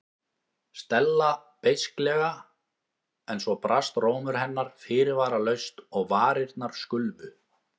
Stella beisklega en svo brast rómur hennar fyrirvaralaust og varirnar skulfu.